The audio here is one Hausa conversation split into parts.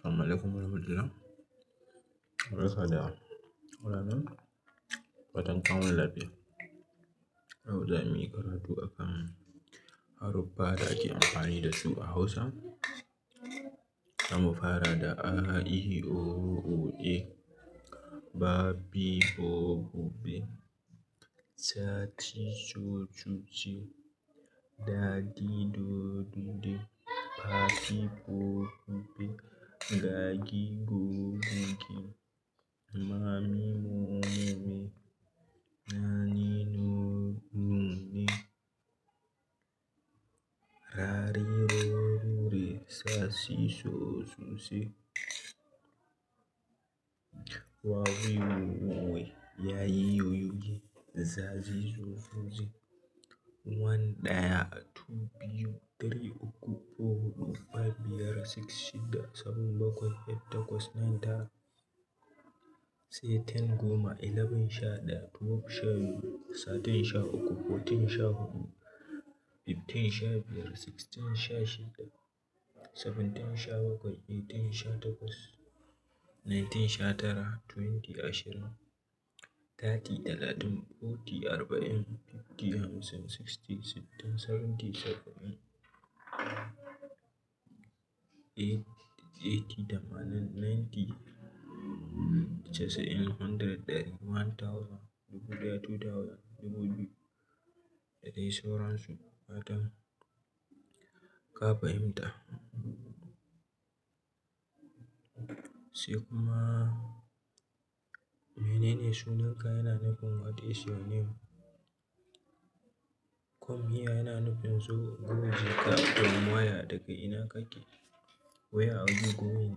Assalamualaikum warahmatullah. Barka da yawa, kuna na nan? Dafatan an wuni lafiya? Yau da muyi karatu akan haruffa da ake amfani dasu a Hausa. Za mu fara da a, i, o, u, e. Ba, bi, bo, bu, be. Sa, si, so, su, se. Da, di, do, du, de. Fa, fi, fo, fu, fe. Ga, gi, go, gu, ge. Ma, mi, mo, mu, me. Na, ni, no, nu, ne. Ra, ri, ro, ru, re. Sa, si, so, su, se. Wa, wi, wo, wu, we. Ya, yi, yo, yu, ye. Za, zi, zo, zu, ze. One, ɗaya. Two, biyu. Three, uku. Four, huɗu. Five, biyar. Six, shidda. Seven, bakwai. Eight, takwas. Nine, tara. Sai Ten, goma. Eleven, sha ɗaya. Twelve, sha biyu. Thirteen, sha uku. Fourteen, sha huɗu. Fifteen, sha biyar. Sixteen, sha shida. Seventeen, sha bakwai. Eighteen, sha takwas. Nineteen, sha tara. Twenty, ashirin. Thirty, talatin. Forty, arba'in. Fifty, hamsin. Sixty, sittin. Seventy, saba'in. Eighty, tamanin. Ninety, casa'in. Hundred, ɗari. One thousand, dubu ɗaya. Two thousand, dubu biyu. Da dai sauran su. Fatan ka fahimta. Sai kuma, mene ne sunan ka? Yana nufin what is your name? Come here? Yana nufin zo. Go, je ka. Come here, daga ina kake. Where are you going?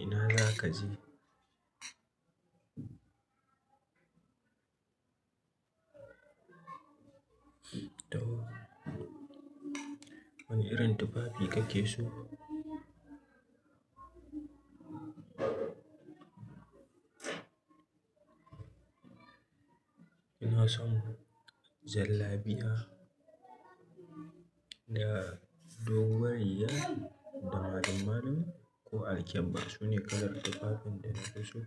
Ina za ka je. To, wani irin tufafi kake so? Ina son jallabiya da doguwar riga da malum-malum ko al-kebba. Sune kalar tufafin da na fi so.